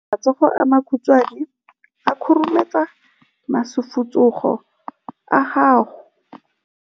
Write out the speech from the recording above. Matsogo a makhutshwane a khurumetsa masufutsogo a gago.